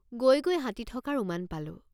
গৈ গৈ হাতী থকাৰ উমান পালোঁ।